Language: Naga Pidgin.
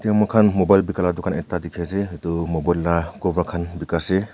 mokhan mobile bika la dukan ekta dikhiase edu mobile la cover khan bika ase.